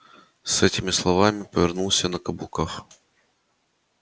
с этими словами повернулся на каблуках